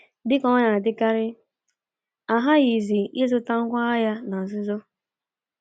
Dị ka ọ na-adịkarị, a ghaghị ịzụta ngwá agha na nzuzo.